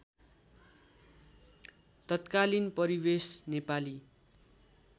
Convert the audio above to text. तत्कालीन परिवेश नेपाली